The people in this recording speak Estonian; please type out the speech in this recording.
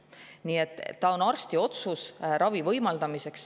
Nii et on arsti otsus võimaldada ravi.